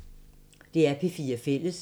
DR P4 Fælles